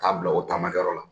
K'a bila o taamakɛyɔrɔ la